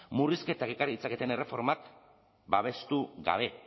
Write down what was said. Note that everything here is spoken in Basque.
murrizketak ekar ditzaketen erreformak babestu gabe